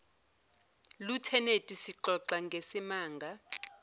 lutheneti sixoxa ngesimanga